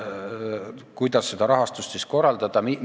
Kuidas seda rahastust siis korraldada?